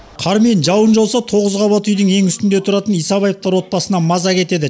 қар мен жауын жауса тоғыз қабат үйдің ең үстінде тұратын исабаевтар отбасынан маза кетеді